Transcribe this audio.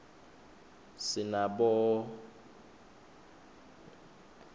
sinabonyconduo msihal